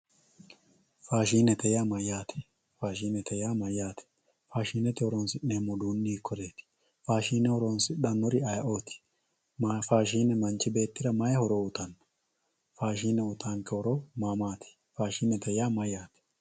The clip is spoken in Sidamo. Faashinette yaa mayatte, faashinette yaa mayate, faashinete horonsineemo uduuni hikoyeti, faashine horonsidhanori ayeeoti, faashine manchi beettira mayi hoto uyitano, faashine uyitanke horo ma maati, faadhinetr yaa mayate